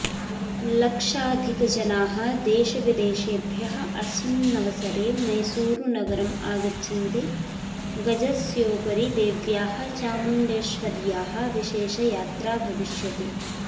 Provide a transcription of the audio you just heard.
लक्षाधिकजनाः देशविदेशेभ्यः अस्मिन्नवसरे मैसूरुनगरम् आगच्छन्ति गजस्योपरि देव्याः चामुण्डेश्वर्याः विशेषयात्रा भविष्यति